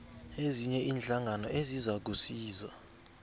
ezinye iinhlangano ezizakusiza